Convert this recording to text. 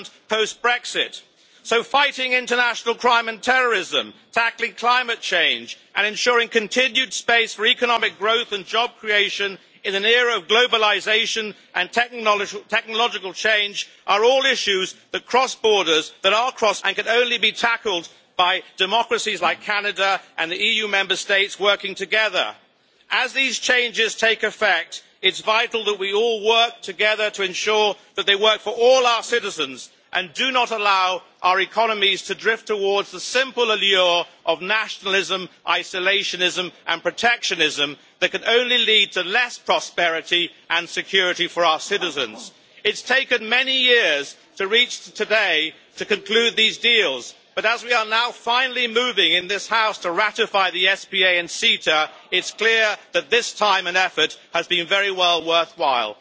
EU post-Brexit. Fighting international crime and terrorism, tackling climate change and ensuring continued space for economic growth and job creation in an era of globalisation and technological change are all issues that cross borders, and they can only be tackled by democracies like Canada and the EU Member States working together. As these changes take effect, it is vital that we all pull together to ensure that they work for all our citizens, and that we do not allow our economies to drift towards the simple allure of nationalism, isolationism and protectionism that can only lead to less prosperity and security for our citizens. It has taken many years to reach today and to conclude these deals, but as we are now finally moving in this House to ratify the SPA and CETA, it is clear that this time and effort has been very well worthwhile.